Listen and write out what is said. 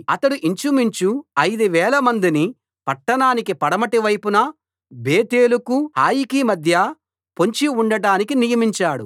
అతడు ఇంచుమించు ఐదు వేలమందిని పట్టణానికి పడమటి వైపున బేతేలుకు హాయికి మధ్య పొంచి ఉండటానికి నియమించాడు